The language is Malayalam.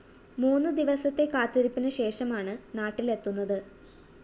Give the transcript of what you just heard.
മൂന്ന് ദിവസത്തെ കാത്തിരിപ്പിന് ശേഷമാണ് നാട്ടിലെത്തുന്നത്